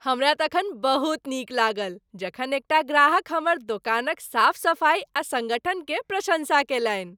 हमरा तखन बहुत नीक लागल जखन एकटा ग्राहक हमर दोकानक साफ सफाइ आ सङ्गठन के प्रशंसा कयलनि।